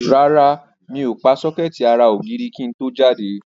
Rárá, mi ò pa sọ́kẹ́ẹ̀tì ara ògiri kí n tó jáde.